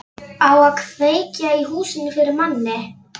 Á að kveikja í húsinu fyrir manni!